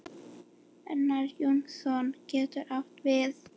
Einar Jónsson getur átt við